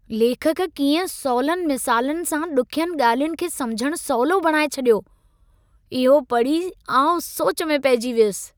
लेखक कीअं सवली मिसालुनि सां ॾुखियुनि ॻाल्हियुनि खे समिझणु सवलो बणाए छॾियो, इहो पढ़ी आउं सोच में पहिजी वियुसि।